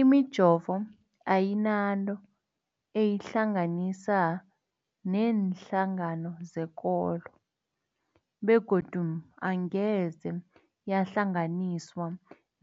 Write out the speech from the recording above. Imijovo ayinanto eyihlanganisa neenhlangano zekolo begodu angeze yahlanganiswa